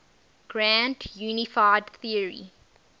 grand unified theory